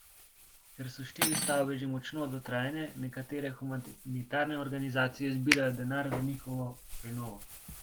Ker so štiri stavbe že močno dotrajane, nekatere humanitarne organizacije zbirajo denar za njihovo prenovo.